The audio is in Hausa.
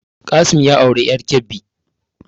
Qassim ya auri ƴar Kebbi